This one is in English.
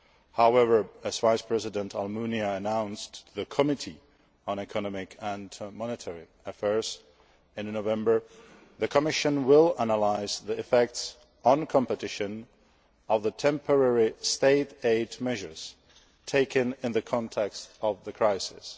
However, as Vice President Almunia announced to the Committee on Economic and Monetary Affairs in November, the Commission will analyse the effects on competition of the temporary State aid measures taken in the context of the crisis.